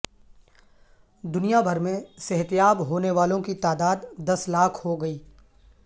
دنیا بھر میں صحت یاب ہونے والوں کی تعداد دس لاکھ ہوگئی